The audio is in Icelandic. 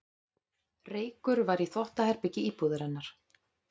Reykur var í þvottaherbergi íbúðarinnar